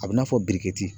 A bɛ n'a fɔ